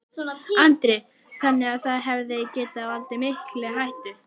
Norrænar hlutleysisreglur bönnuðu kafbátum að fara inn í landhelgi